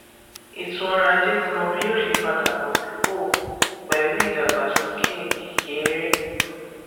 ètò ọrọ ajé ti mọ bí yóò ṣe padà bọ sípò pẹlú ìdàgbásókè kéré